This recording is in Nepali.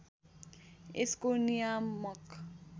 यसको नियामक